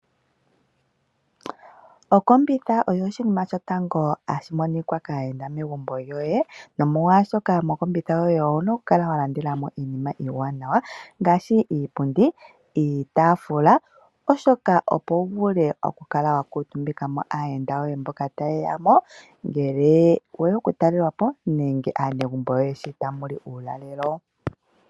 Okombitha oyo oshinima shotango hashi monika kaayenda megumbo lyoye, nomolwashoka mokombitha yoye owu na okukala wa landela mo iinima iiwanawa ngaashi iipundi niitaafula, opo wu vule okukala wa kuutumbika ko aayenda yoye mboka taye ya mo ngele we ya okutalelwa po nenge aanegumbo yoye sho tamu li uulalelo.